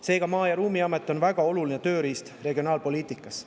Seega on Maa‑ ja Ruumiamet väga oluline tööriist regionaalpoliitikas.